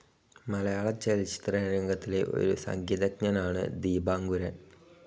മലയാളചലച്ചിത്രരംഗത്തിലെ ഒരു സംഗീതജ്ഞനാണ് ദീപാങ്കുരൻ.